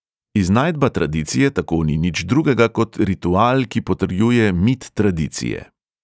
Iznajdba tradicije tako ni nič drugega kot ritual, ki potrjuje mit tradicije.